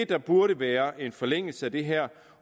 der burde være en forlængelse af det her